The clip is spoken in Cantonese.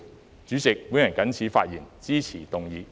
代理主席，我謹此陳辭，支持議案。